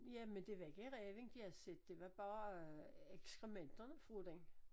Ja men det var ikke ræven de havde set det var bare ekskrementerne fra den